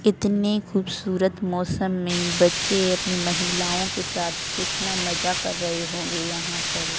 कितने खूबसूरत मौसम में बच्चे अपनी महिलाओं के साथ कितना मजा कर रहे होंगे यहां पर बहुत --